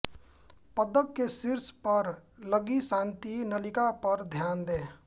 पदक के शीर्ष पर लगी शांति नलिका पर ध्यान दें